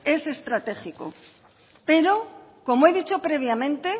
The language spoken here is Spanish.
es estratégico pero como he dicho previamente